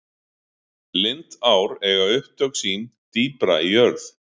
lindár eiga upptök sín dýpra í jörð